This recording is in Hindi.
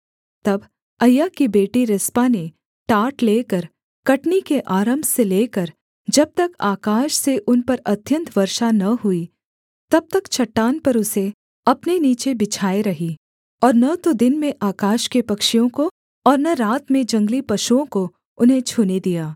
तब अय्या की बेटी रिस्पा ने टाट लेकर कटनी के आरम्भ से लेकर जब तक आकाश से उन पर अत्यन्त वर्षा न हुई तब तक चट्टान पर उसे अपने नीचे बिछाये रही और न तो दिन में आकाश के पक्षियों को और न रात में जंगली पशुओं को उन्हें छूने दिया